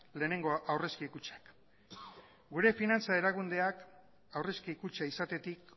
lehenengo aurrezki kutxak gure finantza erakundeak aurrezki kutxa izatetik